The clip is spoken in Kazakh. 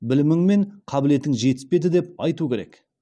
білімің мен қабілетің жетіспеді деп айту керек